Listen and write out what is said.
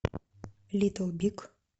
литл биг